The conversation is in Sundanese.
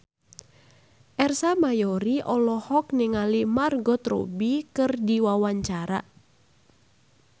Ersa Mayori olohok ningali Margot Robbie keur diwawancara